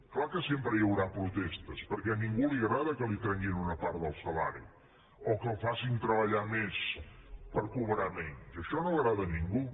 clar que sempre hi haurà protestes perquè a ningú li agrada que li treguin una part del salari o que el facin treballar més per cobrar menys això no agrada a ningú